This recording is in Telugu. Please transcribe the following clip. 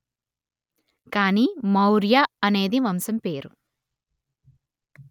కాని మౌర్య అనేది వంశం పేరు